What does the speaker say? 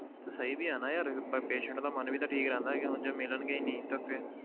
ਤਾਂ ਸਹੀ ਵੀ ਆ ਨਾ ਯਾਰ ਪ~ patient ਦਾ ਮਨ ਵੀ ਤਾਂ ਠੀਕ ਰਹਿੰਦਾ ਕਿ ਹੁਣ ਜੇ ਮਿਲਣਗੇ ਹੀ ਨਹੀਂ ਤੇ ਫਿਰ,